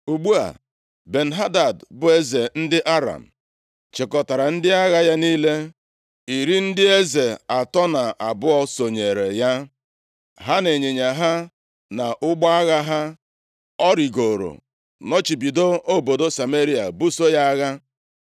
Ugbu a, Ben-Hadad, bụ eze ndị Aram, chịkọtara ndị agha ya niile. Iri ndị eze atọ na abụọ sonyere ya, ha na ịnyịnya ha na ụgbọ agha ha. Ọ rịgooro nọchibido obodo Sameria buso ya agha.